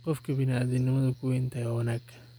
Qofki biniadamu kuwenthy wa wanag.